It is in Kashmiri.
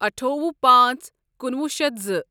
أٹھۄہُ پانژھ کنُۄہُ شیتھ زٕ